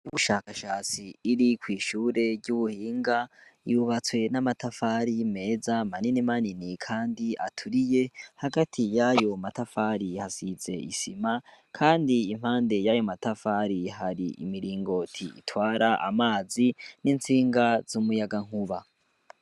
Ubushakashatsi buri kw'ishure ry'ubuhinga, ryubatse n'amatafari meza manini manini kandi aturiye, hagati y'ayo matafari hasize isima, impande y'ayo matafari hari umuringoti utwara amazi n'intsinga z'umuyagankuba.